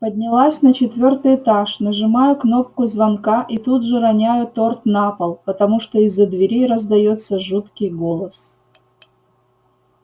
поднялась на четвёртый этаж нажимаю кнопку звонка и тут же роняю торт на пол потому что из-за двери раздаётся жуткий голос